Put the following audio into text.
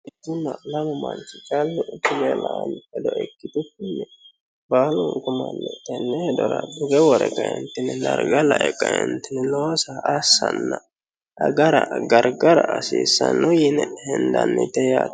itunna lama manchi callu tugge la'ano ledo ikkitunni baalu manni tenne hedora tugge wore kaentini darga lae kaentini loosa assanna agara gargara hasiissanno yiini hindannite yaate